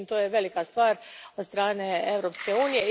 Međutim, to je velika stvar od strane Europske unije.